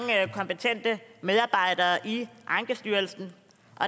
kompetente medarbejdere i ankestyrelsen